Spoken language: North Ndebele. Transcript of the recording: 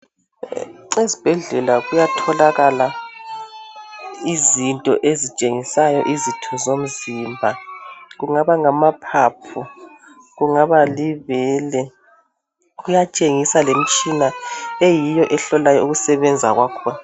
Esbhedlela kuyatholakala izinto ezitshengisayo izitho zomzimba .Kungaba ngamaphaphu ,kungaba libele .Kuyatshengisa lemtshina eyiyo ehlolayo ukusebenza kwakhona .